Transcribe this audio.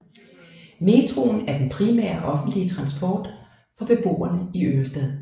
Metroen er den primære offentlige transport for beboerne i Ørestad